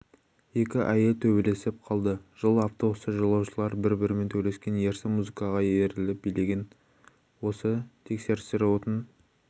екі әйел төбелесіп қалды жыл автобуста жолаушылар бір-бірімен төбелескен ерсі музыкаға еліріп билеген осы тексерістер отын